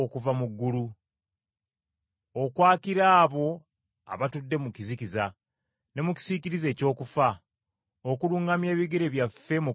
okwakira abo abatudde mu kizikiza ne mu kisiikirize eky’okufa, okuluŋŋamya ebigere byaffe mu kkubo ery’emirembe.”